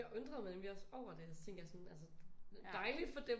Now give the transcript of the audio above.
Jeg undrede mig nemlig også over det og så tænkte jeg sådan altså dejligt for dem